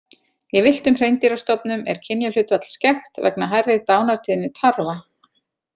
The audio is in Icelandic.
Í villtum hreindýrastofnum er kynjahlutfall skekkt vegna hærri dánartíðni tarfa.